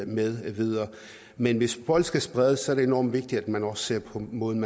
med videre men hvis folk skal spredes er det enormt vigtigt at man også ser på måden